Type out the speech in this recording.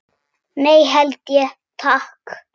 Ég held ekki, takk.